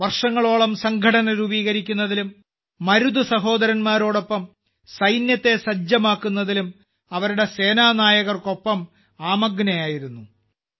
അവർ വർഷങ്ങളോളം സംഘടന രൂപീകരിക്കുന്നതിലും മരുത് സഹോദര•ാരോടൊപ്പം സൈന്യത്തെ സജ്ജമാക്കുന്നതിലും അവരുടെ സേനാനായകർക്കൊപ്പം ആമഗ്നയായിരുന്നു